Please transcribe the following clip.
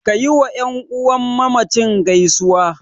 Ka yiwa ƴan uwan mamacin gaisuwa.